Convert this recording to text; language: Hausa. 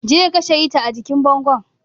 Je ka kashe hita a jikin bango.